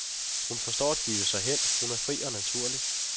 Hun forstår at give sig hen, hun er fri og naturlig.